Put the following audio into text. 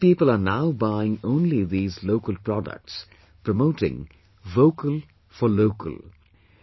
These people are now buying only these local products, promoting "Vocal for Local"